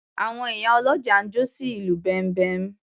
Àwọn ìyá ọlọ́jà ń jó sí ìlù bẹ̀m̀bẹ́.